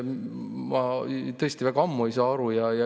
Ma juba ammu ei ole sellest aru saanud.